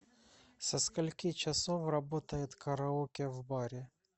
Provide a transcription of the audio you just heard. со скольки часов работает караоке в баре